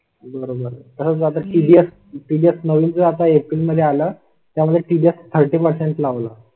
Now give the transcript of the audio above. बरोबर त्यासाठी दिल्यास नवीन जाता एप्रिल मध्ये आला. त्या मध्ये तीस पर्सेंट लावला.